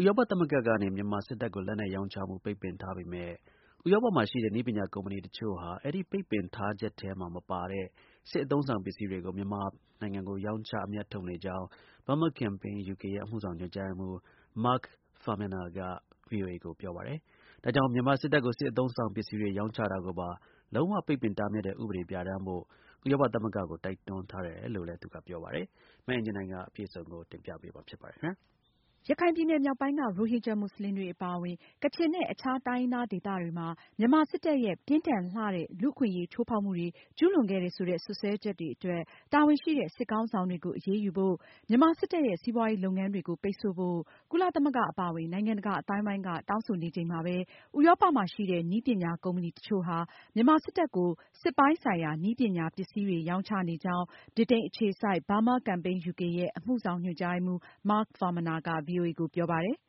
ဥရောပသမဂ္ဂကနေ မြန်မာစစ်တပ်ကို လက်နက်ရောင်းချမှု ပိတ်ပင်ထားပေမဲ့ ဥရောပမှာရှိတဲ့ နည်းပညာကုမ္ပဏီတချို့ဟာ အဲဒီပိတ်ပင်ထားချက်မှာ မပါတဲ့ စစ်အသုံးအဆောင်ပစ္စည်းတွေကို မြန်မာကို ရောင်းချ အမြတ်ထုတ်နေကြောင်း Burma Campaign ယူကေရဲ့ အမှုဆောင်ညွန်ကြားရေးမှူး Mark Farmaner က ဗွီအိုအေကို ပြောပါတယ်။ ဒါကြောင့် မြန်မာစစ်တပ်ကို စစ်လက်နက်တွေအပြင် စစ်အသုံးအဆောင်ပစ္စည်းတွေ ရောင်းချတာကိုပါ လုံး၀ ပိတ်ပင်တားမြစ်တဲ့ ဥပဒေ ပြဌာန်းဖို့ ဥရောပသမဂ္ဂကို ဥရောပအခြေစိုက် မြန်မာ့အရေးလှုပ်ရှားနေတဲ့အဖွဲ့တွေက တိုက်တွန်းထားတယ်လို့လည်း သူကပြောပါတယ်။ မအင်ကြင်းနိုင်က အပြည့်အစုံကိုတင်ပြမှာပါ။ ရခိုင်ပြည်နယ်မြောက်ပိုင်းက ရိုဟင်ဂျာမွတ်စလင်တွေအပါအဝင် ကချင်နဲ့ အခြားတိုင်းရင်းသား ဒေသတွေမှာ မြန်မာစစ်တပ်ရဲ့ ပြင်းထန်လှတဲ့ လူ့အခွင့်အရေးချိုးဖောက်မှုတွေ ကျူးလွန်ခဲ့တယ်ဆိုတဲ့ စွပ်စွဲချက်တွေအတွက် တာဝန်ရှိတဲ့ စစ်ခေါင်းဆောင်တွေကို အရေးယူဖို့၊ မြန်မာစစ်တပ်ရဲ့ စီးပွားရေး လုပ်ငန်းတွေကို ပိတ်ဆို့ဖို့ ကုလသမဂ္ဂအပါအဝင် နိုင်ငံတကာ အသိုင်းအဝိုင်းက တောင်းဆိုနေချိန်မှာပဲ ဥရောပ မှာရှိတဲ့ နည်းပညာကုမ္ပဏီ တချို့ဟာ မြန်မာစစ်တပ်ကို စစ်ပိုင်းဆိုင်ရာ နည်းပညာ ပစ္စည်းတွေ ရောင်းချနေကြောင်း ဗြိတိန်အခြေစိုက် Burma Campaign ယူကေရဲ့ အမှုဆောင်ညွန်ကြားရေးမှူး Mark Farmaner က ဗွီအိုအေကိုပြောပါတယ်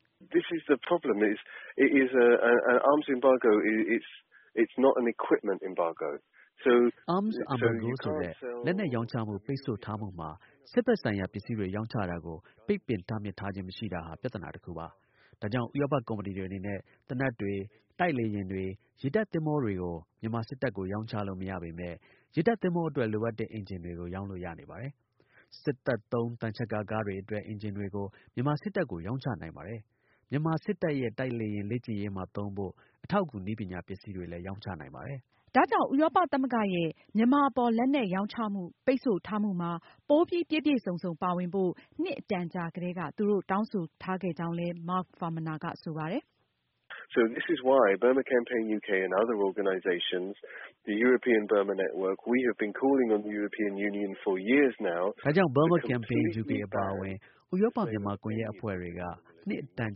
။ “ဥရောပသမဂ္ဂက Arms Embargo ဆိုတဲ့ လက်နက်ရောင်းချမှု ပိတ်ဆို့ထားမှုမှာ စစ်ဘက်ဆိုင်ရာ ပစ္စည်းတွေ ရောင်းချတာကို ပိတ်ပင်တားမြစ်ထားခြင်း မရှိတာဟာ ပြဿနာတခုပါ။ ဒါကြောင့် ဥရောပ ကုမ္ပဏီတွေအနေနဲ့ သေနတ်တွေ၊ တိုက်လေယာဉ်တွေ၊ ရေတပ်သင်္ဘောတွေကို မြန်မာစစ်တပ်ကို ရောင်းချလို့ မရပေမဲ့ ရေတပ်သင်္ဘောအတွက် လိုအပ်တဲ့ အင်ဂျင်တွေကို ရောင်းလို့ရနေပါတယ်။ စစ်သုံး သံချပ်ကာ ကားတွေအတွက် အင်ဂျင်တွေကို မြန်မာစစ်တပ်ကို ရောင်းချနိုင်ပါတယ်။ မြန်မာစစ်တပ် ရဲ့ တိုက်လေယာဉ် လေ့ကျင့်ရေးမှာသုံးဖို့ အထောက်အကူနည်းပညာ ပစ္စည်းတွေ ရောင်းချနိုင်ပါတယ်။” ဒါကြောင့် ဥရောပသမဂ္ဂရဲ့ မြန်မာအပေါ် လက်နက်ရောင်းချမှု ပိတ်ဆို့ထားမှုမှာ ပိုပြီး ပြည့်ပြည့်စုံစုံပါဝင်ဖို့ နှစ်အတန်ကြာကတည်းက သူတို့ တောင်းဆိုထားခဲ့ကြောင်းလည်း Mark Farmaner ကဆိုပါတယ်။ “ Burma Campaign ယူကေအပါအဝင် ဥရောပ-မြန်မာ ကွန်ယက်အဖွဲ့ တွေက နှစ်အတန်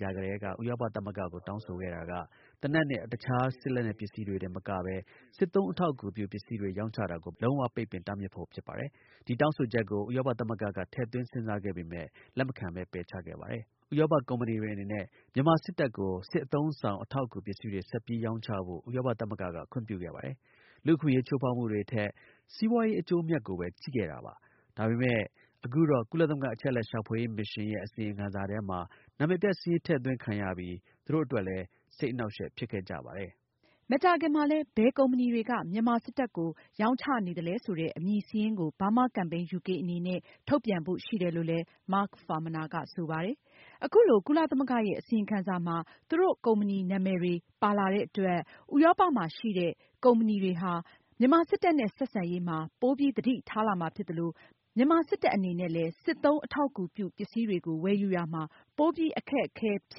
ကြာ ကတည်းက ဥရောပသမဂ္ဂကို တောင်းဆိုခဲ့တာက သေနတ်နဲ့ အခြားစစ်လက်နက်ပစ္စည်းတွေတင် မကပဲ စစ်သုံးအထောက်အကူပြု ပစ္စည်းတွေ ရောင်းချတာကိုပါ လုံးဝပိတ်ပင် တားမြစ်ဖို့ဖြစ်ပါတယ်။ ဒီတောင်းဆိုချက်ကို ဥရောပသမဂ္ဂက ထည့်သွင်းစဉ်းစားခဲ့ပေမဲ့ လက်မခံပဲ ပယ်ချခဲ့ပါတယ်။ ဥရောပ ကုမ္ပဏီတွေ အနေနဲ့ မြန်မာစစ်တပ်ကို စစ်အသုံးအဆောင်အထောက်အကူပစ္စည်းတွေ ဆက်ပြီးရောင်းချဖို့ ဥရောပသမဂ္ဂက ခွင့်ပြုခဲ့ပါတယ်။ လူ့အခွင့်အရေး ချိုးဖောက်မှုတွေထက် စီးပွားရေး အကျိုးအမြတ်ကိုပဲ ကြည့်ခဲ့တာပါ။ ဒါပေမဲ့ အခုတော့ ကုလသမဂ္ဂ အချက်အလက်ရှာဖွေရေး မစ်ရှင်းရဲ့ အစီရင်ခံစာထဲမှာ နာမည်ပျက်စာရင်း ထည့်သွင်းခံရပြီး သူတို့ အတွက်လည်း စိတ်အနှောင့်အယှက် ဖြစ်ခဲ့ကြပါတယ်။” မကြာခင်မှာလည်း ဘယ်ကုမ္ပဏီတွေက မြန်မာစစ်တပ်ကို ရောင်းချနေသလဲဆိုတဲ့ အမည်စာရင်းကို Burma Campaign ယူကေအနေနဲ့ ထုတ်ပြန်ဖို့ရှိတယ်လို့လည်း Mark Farmaner ကဆိုပါတယ်။ အခုလို ကုလသမဂ္ဂရဲ့ အစီရင်ခံစာမှာ သူတို့ ကုမ္ပဏီနာမည်တွေ ပါလာတဲ့အတွက် ဥရောပမှာရှိတဲ့ ကုမ္ပဏီတွေဟာ မြန်မာစစ်တပ်နဲ့ ဆက်ဆံရေးမှာ ပိုပြီးသတိထားလာမှာဖြစ်သလို၊ မြန်မာစစ်တပ်အနေ နဲ့လည်း စစ်သုံးအထောက်အကူပြုပစ္စည်းတွေကို ဝယ်ယူရာမှာ ပိုပြီး အခက်အခဲဖြ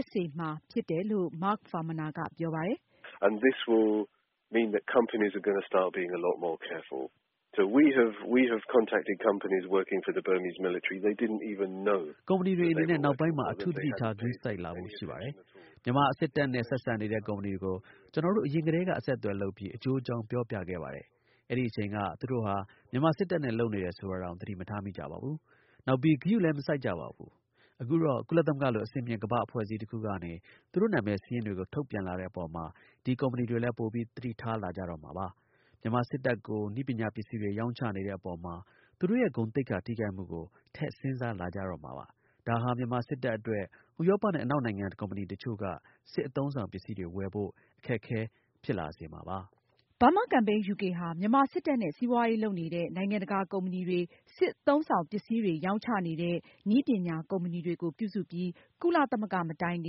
စ်စေတယ်လို့ Mark Farmaner က ပြောပါတယ်။ “ကုမ္ပဏီတွေအနေနဲ့ နောက်ပိုင်းမှာ အထူးသတိထား ဂရုစိုက်လာဖို့ရှိပါတယ်။ မြန်မာစစ်တပ်နဲ့ ဆက်ဆံနေတဲ့ ကုမ္ပဏီတွေကို ကျနော်တို့ အရင်ကတည်းက အဆက်အသွယ်လုပ်ပြီး အကျိုးအကြောင်း ပြောပြခဲ့ပါတယ်။ အဲဒီအချိန်က သူတို့ဟာ မြန်မာစစ်တပ်နဲ့ လုပ်နေတယ်ဆိုတာတောင် သတိမထားမိကြပါဘူး။ နောက်ပြီး ဂရုလည်း မစိုက်ကြပါဘူး။ အခုတော့ ကုလသမဂ္ဂလို အဆင့်မြင့် ကမ္ဘာ့အဖွဲ့အစည်းတခုကနေ သူတို့နာမည်စာရင်းတွေကို ထုတ်ပြန်လာတဲ့အပေါ်မှာ ဒီကုမ္ပဏီတွေလည်း ပိုပြီး သတိထားလာကြတော့မှာပါ။ မြန်မာစစ်တပ်ကို နည်းပညာ ပစ္စည်းတွေရောင်းချနေတဲ့အပေါ်မှာ သူတို့ရဲ့ ဂုဏ်သိက္ခာထိခိုက်မှုကို ထည့်စဉ်းစားလာကြတော့မှာပါ။ ဒါဟာ မြန်မာစစ်တပ် အတွက် ဥရောပနဲ့ အနောက်နိုင်ငံ ကုမ္ပဏီတချို့က စစ်အသုံးအဆောင်ပစ္စည်းတွေဝယ်ဖို့ အခက်အခဲဖြစ်စေမှာပါ။” Burma Campaign ယူကေ ဟာ မြန်မာစစ်တပ်နဲ့ စီးပွားရေးလုပ်နေတဲ့ နိုင်ငံတကာ ကုမ္ပဏီတွေ၊ စစ်အသုံးအဆောင် ပစ္စည်းတွေ ရောင်းချနေတဲ့ နည်းပညာကုမ္ပဏီတွေကို ပြုစုပြီး ကုလသမဂ္ဂ မတိုင်ခ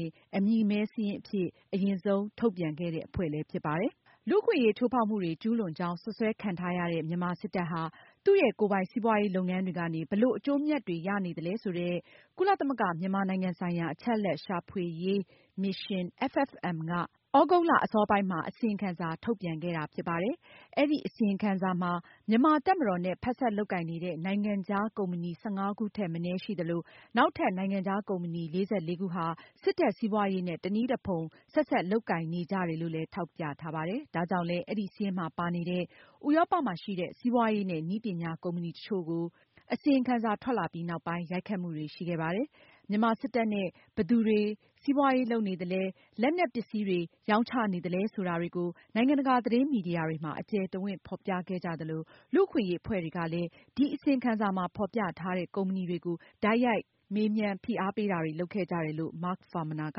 င် အမည်မည်းစာရင်းအဖြစ် အရင်ဆုံး ထုတ်ပြန်ခဲ့တဲ့ အဖွဲ့ဖြစ်ပါတယ်။ လူ့အခွင့်အရေး ချိုးဖောက်မှုတွေ ကျူးလွန်ကြောင်း စွပ်စွဲခံထားရတဲ့ မြန်မာစစ်တပ်ဟာ သူရဲ့ ကိုယ်ပိုင်စီးပွားရေးလုပ်ငန်းတွေကနေ ဘယ်လို အကျိုးအမြတ်တွေ ရနေလဲဆိုတဲ့ ကုလသမဂ္ဂ မြန်မာနိုင်ငံဆိုင်ရာ အချက်အလက်ရှာဖွေရေး မစ်ရှင်းက သြဂုတ်လ အစောပိုင်းမှာ အစီရင်ခံစာ ထုတ်ပြန်ပြီးနောက် အဲဒီ အစီရင်ခံစာမှာ မြန်မာတပ်မတော်နဲ့ ဖက်စပ်လုပ်ကိုင်နေတဲ့ နိုင်ငံခြားကုမ္ပဏီ ၁၅ ခုထက်မနည်းရှိနေသလို၊ နောက်ထပ် နိုင်ငံခြားကုမ္ပဏီ ၄၄ ခုဟာ စစ်တပ်စီးပွားရေးနဲ့ တနည်းတဖုံ ဆက်စပ် လုပ်ကိုင် နေကြတယ်လို့လည်း ထောက်ပြထားပါတယ်။ ဒါကြောင့်လည်း အဲဒီစာရင်းမှာ ပါနေတဲ့ ဥရောပရှိ စီးပွားရေးနဲ့ နည်းပညာကုမ္ပဏီ တချို့ကို အစီရင်ခံစာ ထွက်ပြီးနောက်ပိုင်း ရိုက်ခတ်မှုတွေရှိခဲ့ပါတယ်။ မြန်မာစစ်တပ်နဲ့ ဘယ်သူတွေက စီးပွားရေးလုပ်နေသလဲ၊ လက်နက်ပစ္စည်းတွေ ရောင်းချနေသလဲဆိုတာတွေကို နိုင်ငံတကာသတင်းမီဒီယာတွေမှာ အကျယ်တဝန့် ဖေါ်ပြခဲ့ကြသလို၊ လူ့အခွင့်အရေးအဖွဲ့တွေကလည်း ဒီအစီရင်ခံစာမှာ ဖေါ်ပြထားတဲ့ ကုမ္ပဏီတွေကို တိုက်ရိုက်ရေးသား မေးမြန်းတာတွေ လုပ်ခဲ့ကြတယ်လို့ Mark Farmaner က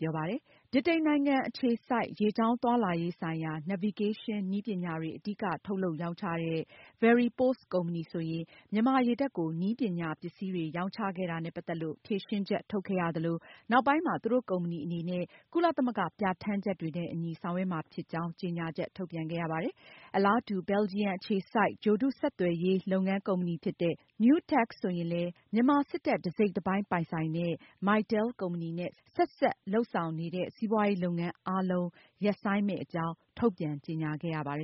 ပြောပါတယ်။ ဗြိတိန်နိုင်ငံ Aberdeen မြို့ အခြေစိုက် ရေကြောင်းသွားလာရေးဆိုင်ရာ navigation နည်းပညာတွေ အဓိက ထုတ်လုပ် ရောင်းချတဲ့ Veripos ကုမ္ပဏီဆိုရင် မြန်မာရေတပ်ကို နည်းပညာပစ္စည်းတွေ ရောင်းချခဲ့တာနဲ့ ပတ်သက်လို့ ဖြေရှင်းချက် ထုတ်ခဲ့ရသလို၊ နောက်ပိုင်းမှာ သူတို့ကုမ္ပဏီအနေနဲ့ ကုလသမဂ္ဂပြဌာန်းချက်တွေနဲ့ အညီ ဆောင်ရွက်မှာဖြစ်ကြောင်း ကြေညာချက်ထုတ်ပြန်ခဲ့ရပါတယ်။ ဘယ်လ်ဂျီယံ အခြေစိုက် ဂြိုလ်တု ဆက်သွယ်ရေး လုပ်ငန်းကုမ္ပဏီဖြစ်တဲ့ Newtec ဆိုရင်လည်း မြန်မာစစ်တပ် တစိတ်တပိုင်း ပိုင်ဆိုင်တဲ့ Mytel ကုမ္ပဏီနဲ့ ဆက်ဆံလုပ်ဆောင်နေတဲ့ စီးပွားရေးလုပ်ငန်းအားလုံး ရပ်ဆိုင်းမယ့်အကြောင်း ထုတ်ပြန်ကြေညာခဲ့ရပါတယ်